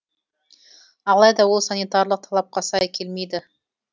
алайда ол санитарлық талапқа сай келмейді